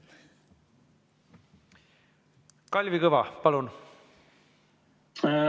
Kalvi Kõva, palun!